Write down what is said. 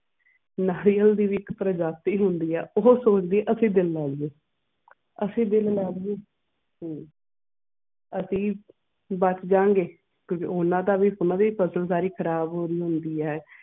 ਨਾਰੀਅਲ ਦੀ ਵੀ ਇੱਕ ਪ੍ਰਜਾਤੀ ਹੁੰਦੀ ਆ ਉਹ ਸੁਣ ਕੇ ਅਸੀਂ ਅਸੀਂ ਦਿਲ ਲੈ ਲਇਏ ਤੇ ਅਸੀਂ ਅਸੀਂ ਬਸ ਜਾਉਂਗੇ